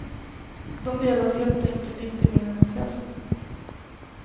De delade helt enkelt inte min entusiasm.